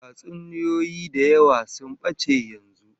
Tatsuniyoyi da yawa sun bace yanzu